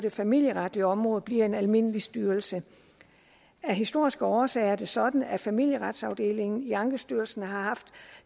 det familieretlige område bliver en almindelig styrelse af historiske årsager er det sådan at familieretsafdelingen i ankestyrelsen har haft